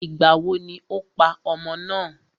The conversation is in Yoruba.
Ìgbàwo ni o pa ọmọ náà?